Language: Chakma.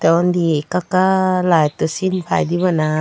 tey undi ekka ekka layetto sin paide bana.